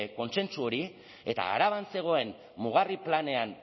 kontsentsu hori eta araban zegoen mugarri planean